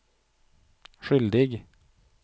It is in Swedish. skyldig